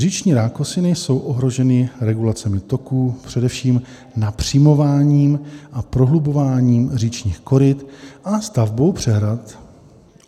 Říční rákosiny jsou ohroženy regulacemi toků, především napřimováním a prohlubováním říčních koryt a stavbou přehrad.